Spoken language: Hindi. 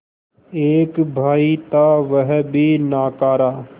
एक भाई था वह भी नाकारा